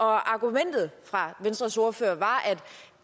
argumentet fra venstres ordfører var at